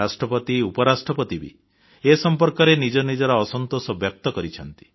ରାଷ୍ଟ୍ରପତି ଉପରାଷ୍ଟ୍ରପତି ବି ଏ ସମ୍ପର୍କରେ ନିଜ ନିଜର ଅସନ୍ତୋଷ ବ୍ୟକ୍ତ କରିଛନ୍ତି